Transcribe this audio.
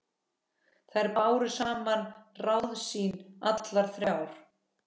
Þær báru saman ráð sín allar þrjár.